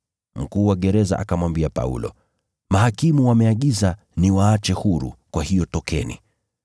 Mkuu wa gereza akamwambia Paulo “Mahakimu wameagiza niwaache huru, kwa hiyo tokeni na mwende zenu kwa amani.”